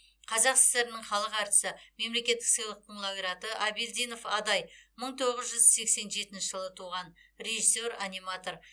қазақ сср інің халық әртісі мемлекеттік сыйлықтың лауреаты әбелдинов адай мың тоғыз жүз сексен жетінші жылы туған режиссер аниматор